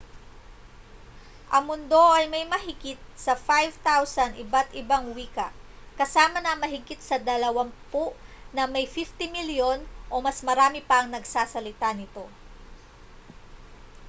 ang mundo ay may mahigit sa 5,000 iba't-ibang wika kasama na ang mahigit sa dalawampu na may 50 milyon o mas marami pang nagsasalita nito